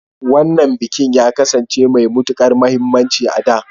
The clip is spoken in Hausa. Wannan bikin ya kasance mai matukar muhimmanci a da.